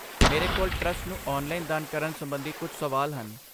ਮੇਰੇ ਕੋਲ ਟਰੱਸਟ ਨੂੰ ਔਨਲਾਈਨ ਦਾਨ ਕਰਨ ਸੰਬੰਧੀ ਕੁੱਝ ਸਵਾਲ ਹਨ।